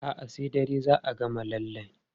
A'a, sai dare za a gama lallen.